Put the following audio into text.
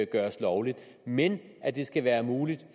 gøres lovligt men at det skal være muligt